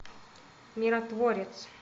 миротворец